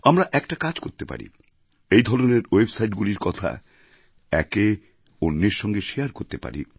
আমরা একটা কাজ করতে পারি এই ধরনের ওয়েবসাইটগুলির কথা একে অন্যের সঙ্গে শেয়ার করতে পারি